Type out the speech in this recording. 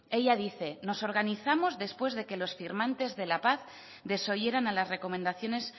ella dice nos organizamos después de que los firmantes de la paz desoyeran a las recomendaciones